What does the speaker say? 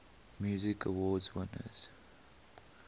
music awards winners